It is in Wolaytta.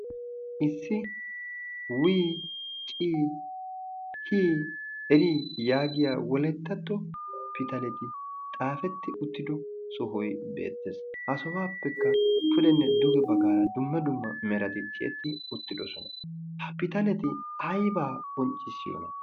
issi wii cii hii erii yaagiya wolettatto pitaleti xaafetti uttido sohoi beettees. ha sobaappekka pudenne dugi baggaara dumma dumma merati ciyetti uttidosona ha pitaleti aibaa bonccissiyoona?